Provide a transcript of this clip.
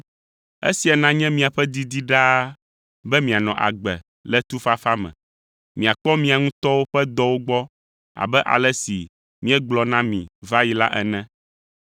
Esia nanye miaƒe didi ɖaa be mianɔ agbe le tufafa me; miakpɔ mia ŋutɔwo ƒe dɔwo gbɔ abe ale si míegblɔ na mi va yi la ene.